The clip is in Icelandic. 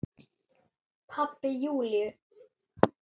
Pabbi Júlíu?